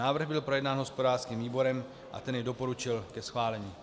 Návrh byl projednán hospodářským výborem a ten jej doporučil ke schválení.